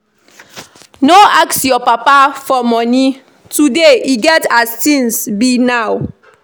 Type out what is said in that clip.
No ask your papa for money today e get as things be now